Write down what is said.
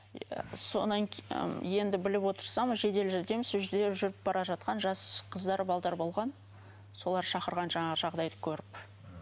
содан енді біліп отырсам жедел жәрдем сол жерде жүріп бара жатқан жас қыздар болған солар шақырған жаңағы жағдайды көріп